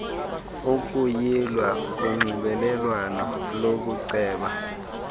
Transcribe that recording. ukuyilwa konxibelelwano lokuceba